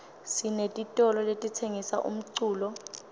sinetitolo letitsengisa umculo